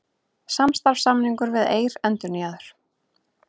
Samstarfssamningur við Eir endurnýjaður